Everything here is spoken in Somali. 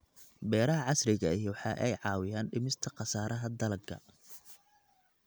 Beeraha casriga ahi waxa ay caawiyaan dhimista khasaaraha dalagga.